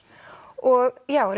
og já